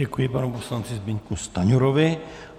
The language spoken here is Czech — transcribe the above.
Děkuji panu poslanci Zbyňku Stanjurovi.